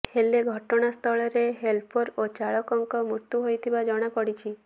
ହେଲେ ଘଟଣାସ୍ଥଳରେ ହେଲ୍ପର ଓ ଚାଳକଙ୍କ ମୃତ୍ୟୁ ହୋଇଥିବା ଜଣାପଡ଼ିଛି